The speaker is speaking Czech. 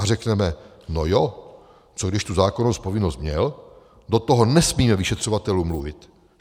A řekneme no jo, co když tu zákonnou povinnost měl, do toho nesmíme vyšetřovatelům mluvit.